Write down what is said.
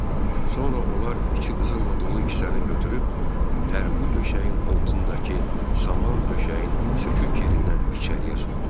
Sonra onlar içi qızılla dolu kisəni götürüb pərqu döşəyin altındakı saman döşəyin sökük yerindən içəriyə soxdular.